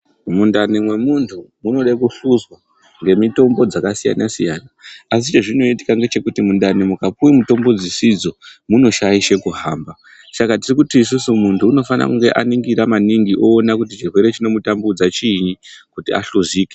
Mundani mwemuntu munode kuhluzwa ngemitombo dzakasiyana siyana. Asi chezvinoitika ngechekuti mundani mwukapuwe mitombo dzisidzo munoshaishe kuhamba. Saka tiri kuti isusu muntu unifanire kunge aningira maningi oona kuti chirwere chinomutambudza chiinyi kuti ahlozike.